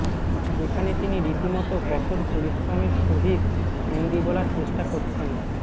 যেখানে তিনি রীতিমত কঠোর পরিশ্রমের সহিত হিন্দি বলার চেষ্টা করছেন